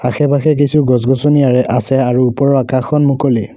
আশে পাশে কিছু গছ গছনি আছে আৰু ওপৰৰ আকাশখন মুকলি।